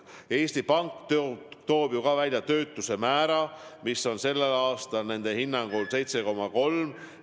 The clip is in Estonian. Eesti Pank toob ju ka välja töötuse osaskaalu, mis on sellel aastal nende hinnangul 7,3%.